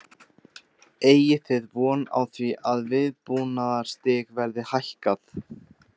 Eigið þið von á því að viðbúnaðarstig verði hækkað?